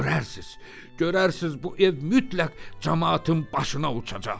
Görərsiz, görərsiz bu ev mütləq camaatın başına uçacaq.